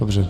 Dobře.